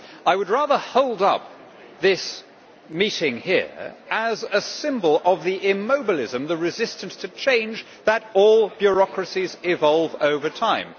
I would rather hold up this meeting here as a symbol of the immobilism the resistance to change that all bureaucracies evolve over time.